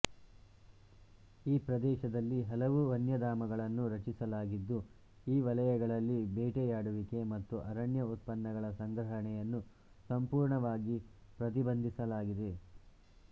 ಈ ಪ್ರದೇಶದಲ್ಲಿ ಹಲವು ವನ್ಯಧಾಮಗಳನ್ನು ರಚಿಸಲಾಗಿದ್ದು ಈ ವಲಯಗಳಲ್ಲಿ ಬೇಟೆಯಾಡುವಿಕೆ ಮತ್ತು ಅರಣ್ಯ ಉತ್ಪನ್ನಗಳ ಸಂಗ್ರಹಣೆಯನ್ನು ಸಂಪೂರ್ಣವಾಗಿ ಪ್ರತಿಬಂಧಿಸಲಾಗಿದೆ